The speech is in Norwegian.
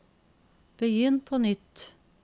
begynn på nytt